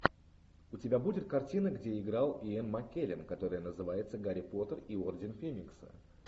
у тебя будет картина где играл иэн маккеллен которая называется гарри поттер и орден феникса